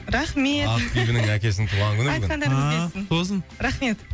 рахмет ақбибінің әкесінің туған күні бүгін айтқандарыңыз келсін ааа құтты болсын рахмет